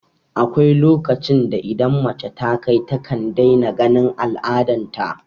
Akwai lokacin da idan mace ta kai takan daina ganin al'adan ta